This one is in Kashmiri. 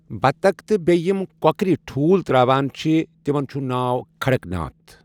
بطخ تہِ بییٚہ یِم کۄکرِ ٹھوٗل تراوان چھِ تمن چھُ ناو کھڑکناتھ